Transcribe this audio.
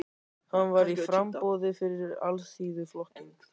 Hann var í framboði fyrir Alþýðuflokkinn.